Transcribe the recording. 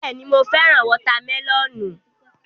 Bẹ́ẹ̀ni, mo fẹ́ràn wọ́tá mẹlọ̀nù.